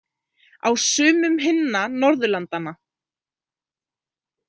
Á sumum hinna Norðurlandanna.